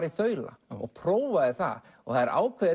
í þaula og prófaði það það er ákveðið